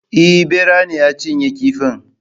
Eh Ɓera ne ya cinye kifin